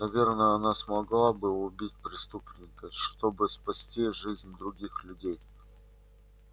наверное она смогла бы убить преступника чтобы спасти жизнь других людей